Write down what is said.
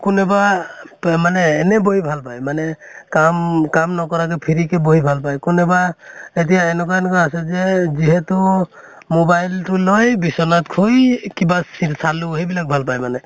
কোনেবা মানে এনে বহি ভাল পায় মানে কাম কাম নকৰাকে free কে বহি ভাল পায় । কোনেবা এতিয়া এনকা এনকে আছে যে যিহেতু mobile টো লৈ বিচনাত শুই কিবা ছি চালো সেইবিলাক ভাল পায় মানে